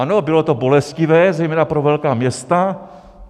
Ano, bylo to bolestivé zejména pro velká města.